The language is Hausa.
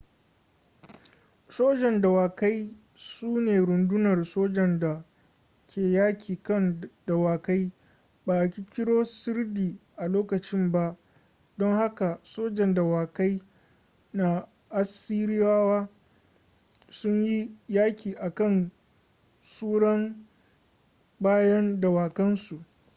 sojan dawakai su ne rundunar sojan da ke yaƙi kan dawakai ba a ƙirƙiro sirdi a lokacin ba don haka sojan dawakai na assiriyawa sun yi yaƙi a kan tsuran bayan dawakan su